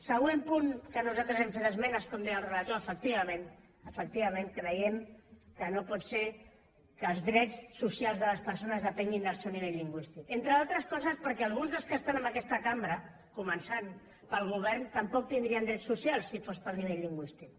següent punt al qual nosaltres hem fet esmenes com deia el relator efectivament efectivament creiem que no pot ser que els drets socials de les persones depenguin del seu nivell lingüístic entre altres coses perquè alguns dels que estan en aquesta cambra començant pel govern tampoc tindrien drets socials si fos pel nivell lingüístic